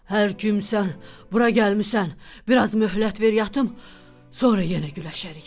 Hər kimsən, bura gəlmisən, biraz möhlət ver yatım, sonra yenə güləşərik.